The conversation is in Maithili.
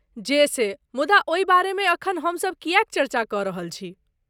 जे से, मुदा ओहि बारेमे एखन हम सब किएक चर्चा कऽ रहल छी?